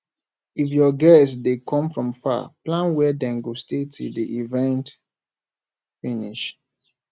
if your guests de come from far plan where dem go stay till di event finish